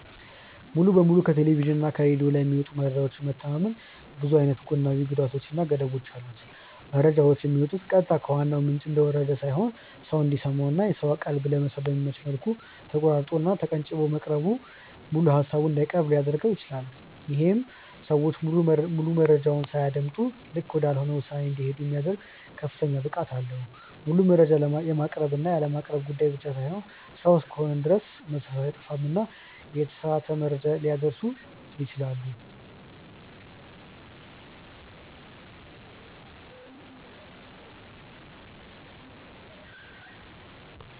ሙሉ በሙሉ ከቴሌቭዥን እና ከሬድዮ ላይ በሚመጡ መረጃዎች መተማመን ብዙ አይነት ጎናዊ ጉዳቶች እና ገደቦች አሉት። መረጃዎቹ የሚመጡት ቀጥታ ከዋናው ምንጭ እንደወረደ ሳይሆን ሰው እንዲሰማው እና የሰውን ቀልብ ለመሳብ በሚመች መልኩ ተቆራርጦ እና ተቀንጭቦ መቅረቡ ሙሉ ሃሳቡን እንዳይቀርብ ሊያድርገው ይችላል። ይሄም ሰዎች ሙሉ መረጃውን ሳያደምጡ ልክ ወዳልሆነ ውሳኔ እንዲሄዱ የሚያደርግ ከፍተኛ ብቃት አለው። ሙሉ መረጃ የማቅረብ እና ያለማቅረብ ጉዳይ ብቻ ሳይሆን ሰው እስከሆንን ድረስ መሳሳት አይጠፋምና የተሳሳተ መረጃ ሊያደርሱ ይችላሉ።